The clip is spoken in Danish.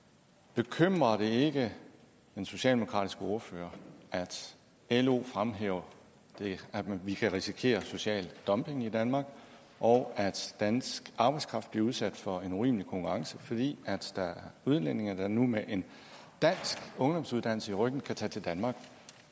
bekymrer det ikke den socialdemokratiske ordfører at lo fremhæver at vi kan risikere social dumping i danmark og at dansk arbejdskraft bliver udsat for en urimelig konkurrence fordi der er udlændinge der nu med en dansk ungdomsuddannelse ryggen kan tage til danmark